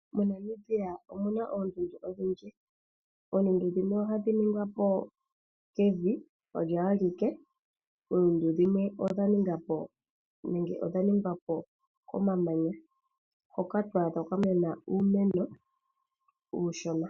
MoNamibia omu na oondundu odhindji. Dhimwe odha etwa po kevi olyo alike, nadhimwe odha etwapo komamanya nevi na oha ku adhika kwa mena uumeno uushona.